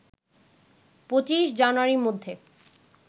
২৫ জানুয়ারির মধ্যে